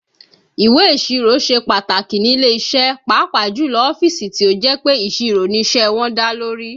Ìwé ìsirò ṣe pàtàkì nílé iṣẹ́ pàápàá jù lọ ọ́fíìsì tí ó jẹ́ pé ìṣirò ni iṣẹ́ wọn dá lórí